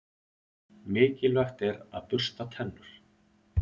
Mikilvægt er að bursta tennur.